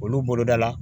Olu boloda la